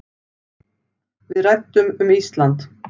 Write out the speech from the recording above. Við ræddum um Ísland.